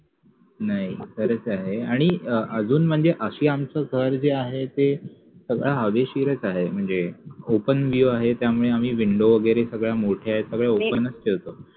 आणि असं आमचं घर जे आहे ते हवेशीरच आहे म्हणजे open view आहे त्यामुळे आम्ही window वैगेरे सगळ्या मोठ्या आहेत open च ठेवतो